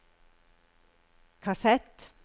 kassett